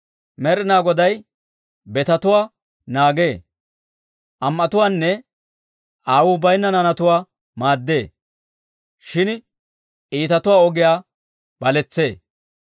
Med'inaa Goday betetuwaa naagee. Am"etuwaanne aawuu bayinna naanatuwaa maaddee; shin iitatuwaa ogiyaa baletsee.